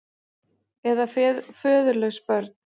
Eða föðurlaus börn.